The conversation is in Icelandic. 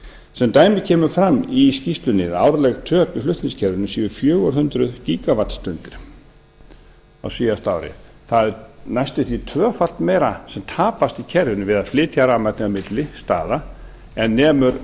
sem dæmi kemur fram í skýrslunni að árleg töp í flutningskerfinu séu fjögur hundruð gígavattstundir á síðasta ári það er næstum því tvöfalt meira sem tapast í kerfinu við að flytja rafmagnið á milli staða en nemur